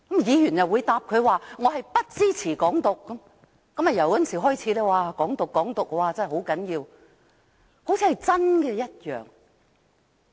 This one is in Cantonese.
議員又回答他不支持"港獨"，自此"港獨"便成為城中熱話，說得好像真有其事般。